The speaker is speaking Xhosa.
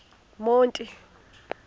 monti